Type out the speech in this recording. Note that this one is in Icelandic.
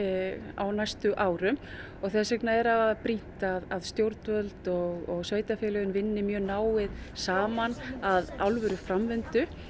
á næstu árum og þess vegna er afar brýnt að stjórnvöld og sveitarfélögin vinni mjög náið saman að alvöru framvindu